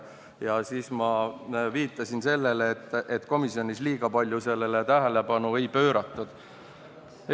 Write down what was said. Siis ma viitasin sellele, et komisjonis liiga palju sellele tähelepanu ei pööratud.